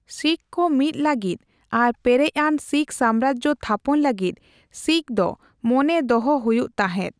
ᱥᱤᱠᱷ ᱠᱚ ᱢᱤᱫ ᱞᱟᱹᱜᱤᱫ ᱟᱨ ᱯᱮᱨᱮᱡ ᱟᱱ ᱥᱤᱠᱷ ᱥᱟᱢᱨᱟᱡᱽ ᱛᱷᱟᱯᱚᱱ ᱞᱟᱹᱜᱤᱫ ᱥᱤᱠᱷᱫᱚ ᱢᱚᱱᱮ ᱫᱚᱦᱚ ᱦᱩᱭᱩᱜ ᱛᱟᱦᱮᱸᱫ ᱾